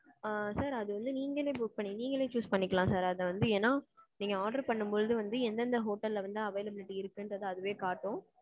ஆ. sir அது வந்து நீங்கறளே book பண்ணி நீக்கினாலே choose பன்னிக்கலாம் sir அது வந்து ஏனா, நீங்க order பண்ணும்பொழுது வந்து எந்தெந்த hotel ல வந்து availability இருக்குங்கிறத அதுவே காட்டும்.